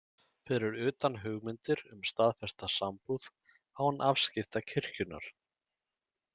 Fyrir utan hugmyndir um staðfesta sambúð án afskipta kirkjunnar.